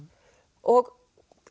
og